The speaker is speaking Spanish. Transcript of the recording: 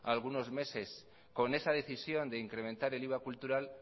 algunos meses con esa decisión de incrementar el iva cultural